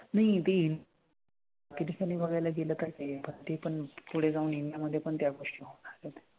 नाही ते किती साली बघायला गेलं तर हे बघ ते पण पुढे जाऊन इंडिया मधे पण त्या गोष्टी होणार बघ.